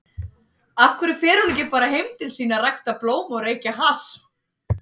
af hverju fer hún ekki bara heim til sín að rækta blóm og reykja hass?